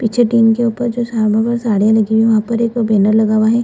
पीछे टीन के ऊपर जो पर साड़ियाँ लगी हुई हैं वहाँ पर एक बैनर लगा हुआ है ।